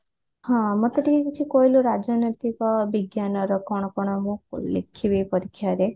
ହଁ ମତେ ଟିକେ କିଛି କହିଲୁ ରାଜନୈତିକ ବିଜ୍ଞାନର କଣ କଣ ମୁଁ ଲେଖିବୀ ପରୀକ୍ଷା ରେ